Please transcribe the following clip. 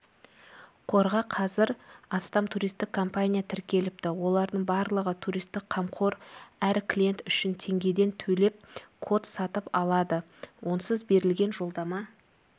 қорға қазір астам туристік компания тіркеліпті олардың барлығы туристик қамқор әр клиент үшін теңгеден төлеп код сатып алады онсыз берілген жолдама